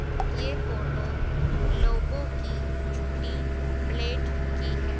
ये फोटो लोगों की झूटी प्लेट की है।